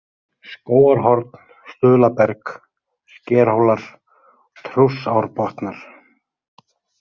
Skógarhorn, Stuðlaberg, Skerhólar, Trússárbotnar